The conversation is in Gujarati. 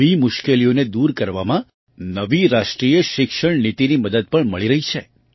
આવી મુશ્કેલીઓને દૂર કરવામાં નવી રાષ્ટ્રીય શિક્ષણ નીતિની મદદ પણ મળી રહી છે